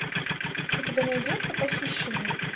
у тебя найдется похищенный